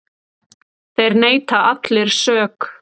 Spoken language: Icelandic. Þeir neita allir sök.